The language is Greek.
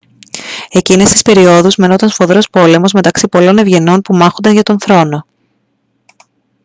εκείνες τις περιόδους μαινόταν σφοδρός πόλεμος μεταξύ πολλών ευγενών που μάχονταν για τον θρόνο